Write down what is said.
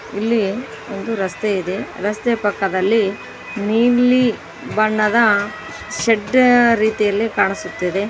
ಇಲ್ಲಿ ಒಂದು ರಸ್ತೆ ಇದೆ ರಸ್ತೆಯ ಪಕ್ಕದಲ್ಲಿ ನೀಲಿ ಬಣ್ಣದ ಶೆಡ್ ರೀತಿಯ ಕಾಣಿಸುತ್ತಿದೆ.